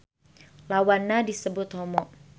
Lawanna disebut homo